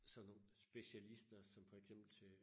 Sådan nogen specialister som for eksempel til